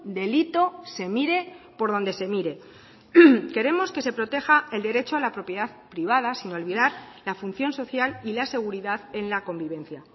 delito se mire por donde se mire queremos que se proteja el derecho a la propiedad privada sin olvidar la función social y la seguridad en la convivencia